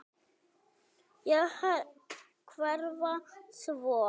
Og hverfa svo.